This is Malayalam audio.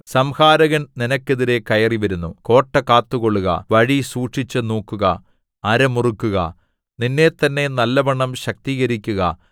സംഹാരകൻ നിനക്കെതിരെ കയറിവരുന്നു കോട്ട കാത്തുകൊള്ളുക വഴി സൂക്ഷിച്ചു നോക്കുക അര മുറുക്കുക നിന്നെത്തന്നെ നല്ലവണ്ണം ശക്തീകരിക്കുക